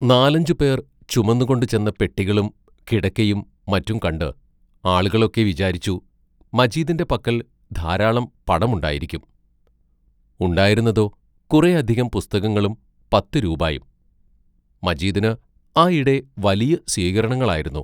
നാലഞ്ചുപേർ ചുമന്നുകൊണ്ട് ചെന്ന് പെട്ടികളും കിടക്കയും മറ്റും കണ്ട് ആളുകളൊക്കെ വിചാരിച്ചു, മജീദിന്റെ പക്കൽ ധാരാളം പണമുണ്ടായിരിക്കും ഉണ്ടായിരുന്നതോ, കുറേ അധികം പുസ്തകങ്ങളും പത്തു രൂപായും മജീദിന് ആയിടെ വലിയ സ്വീകരണങ്ങളായിരുന്നു.